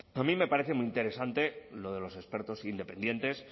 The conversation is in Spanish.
a mí me parece muy interesante lo de los expertos independientes